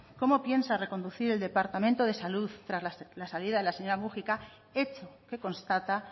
cómo piensa reconducir el departamento de salud tras la salida de la señora múgica hecho que constata